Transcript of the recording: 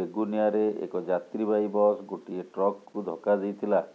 ବେଗୁନିଆରେ ଏକ ଯାତ୍ରୀବାହୀ ବସ ଗୋଟିଏ ଟ୍ରକକୁ ଧକ୍କା ଦେଇଥିଲା